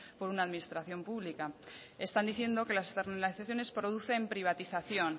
por una administración pública están diciendo que las externalazaciones producen privatización